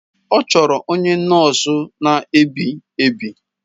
Ọ chọrọ onye nọọsụ na-ebi ebi.